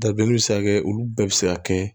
Dabileni be se ka kɛ olu bɛɛ be se ka kɛ